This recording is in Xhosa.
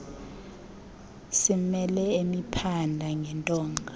simbele emphinda ngentonga